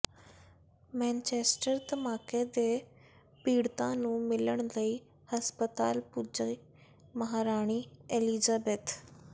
Manchester ਧਮਾਕੇ ਦੇ ਪੀੜਤਾਂ ਨੂੰ ਮਿਲਣ ਲਈ ਹਸਪਤਾਲ ਪੁੱਜੀ ਮਹਾਰਾਣੀ ਐਲਿਜ਼ਾਬੇਥ